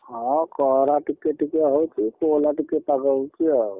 ହଁ ଖରା ଟିକେ ଟିକେ ହଉଛି, କୋହଲା ଟିକେ ପାଗ ହେଇଛି ଆଉ।